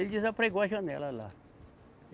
Ele desapregou a janela lá.